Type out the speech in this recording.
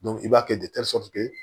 i b'a kɛ